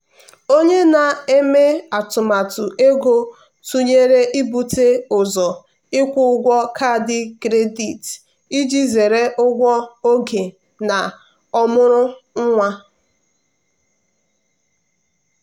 onye na-eme atụmatụ ego tụnyere ibute ụzọ ịkwụ ụgwọ kaadị kredit iji zere ụgwọ oge na ọmụrụ nwa.